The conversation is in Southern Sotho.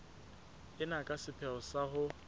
ena ka sepheo sa ho